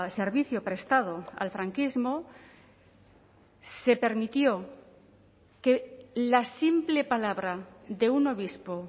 servicio prestado al franquismo se permitió que la simple palabra de un obispo